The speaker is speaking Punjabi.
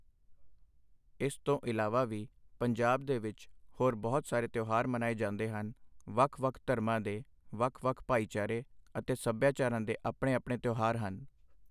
ਇਸ ਤੋਂ ਇਲਾਵਾ ਵੀ ਪੰਜਾਬ ਦੇ ਵਿੱਚ ਹੋਰ ਬਹੁਤ ਸਾਰੇ ਤਿਉਹਾਰ ਮਨਾਏ ਜਾਂਦੇ ਹਨ, ਵੱਖ ਵੱਖ ਧਰਮਾਂ ਦੇ ਵੱਖ ਵੱਖ ਭਾਈਚਾਰੇ ਅਤੇ ਸਭਿਆਚਾਰਾਂ ਦੇ ਆਪਣੇ-ਆਪਣੇ ਤਿਉਹਾਰ ਹਨ।